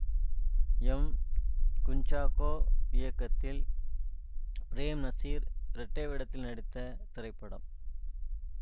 M Kunchacko இயக்கத்தில் பிரேம் நசீர் இரட்டை வேடத்தில் நடித்த திரைப்படம்